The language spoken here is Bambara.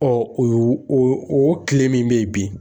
o o kile min be yen bi